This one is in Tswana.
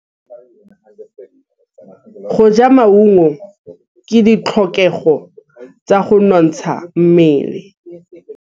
Go ja maungo ke ditlhokegô tsa go nontsha mmele.